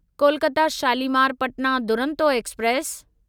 Kolkata Shalimar Patna Duronto express